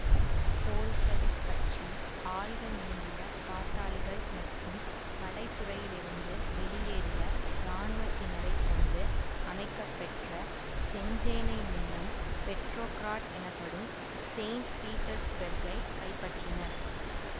Bolshevik கட்சி ஆயுதமேந்திய பாட்டாளிகள் மற்றும் படைத்துறையிலிருந்து வெளியேறிய இராணுவத்தினரைக் கொண்டு அமைக்கப்பெற்ற செஞ்சேனை மூலம் பெட்ரோகிராட் எனப்படும் செயின்ட் பீட்டர்சுபெர்கை கைப்பற்றினர்